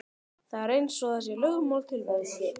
Það er eins og það sé lögmál tilverunnar.